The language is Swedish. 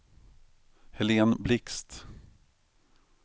Helén Blixt